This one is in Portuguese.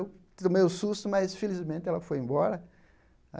Eu tomei um susto, mas, felizmente, ela foi embora.